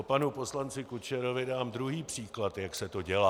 Po panu poslanci Kučerovi dám druhý příklad, jak se to dělá.